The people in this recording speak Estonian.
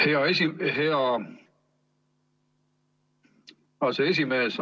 Hea aseesimees!